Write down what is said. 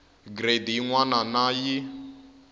gireyidi yin wana na yin